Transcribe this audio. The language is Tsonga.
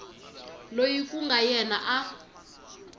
loyi ku nga yena a